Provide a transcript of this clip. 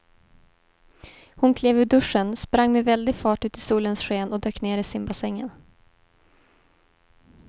Hon klev ur duschen, sprang med väldig fart ut i solens sken och dök ner i simbassängen.